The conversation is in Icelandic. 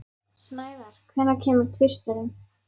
Snævar, hvenær kemur tvisturinn?